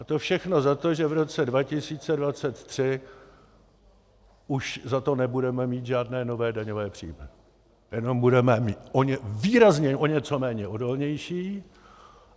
A to všechno za to, že v roce 2023 už za to nebudeme mít žádné nové daňové příjmy, jenom budeme výrazně o něco méně odolní.